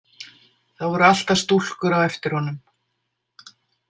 Það voru alltaf stúlkur á eftir honum.